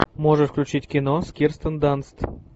можешь включить кино с кирстен данст